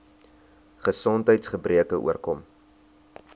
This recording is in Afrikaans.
gesondheids gebreke oorkom